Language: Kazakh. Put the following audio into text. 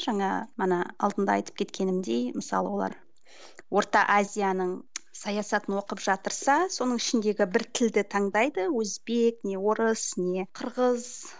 жаңа ана алдында айтып кеткенімдей мысалы олар орта азияның саясатын оқып жатырса соның ішіндегі бір тілді таңдайды өзбек не орыс не қырғыз